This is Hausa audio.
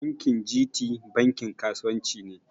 Bankin G.T bankin kasuwan ci ne